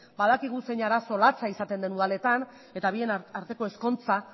badakigu zein arazo latza izaten den udaletan eta bien arteko ezkontza